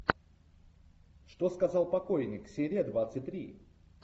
что сказал покойник серия двадцать три